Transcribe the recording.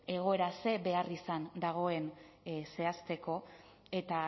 egoera zer beharrizan dagoen zehazteko eta